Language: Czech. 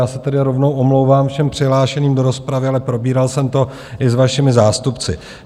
Já se tedy rovnou omlouvám všem přihlášeným do rozpravy, ale probíral jsem to i s vašimi zástupci.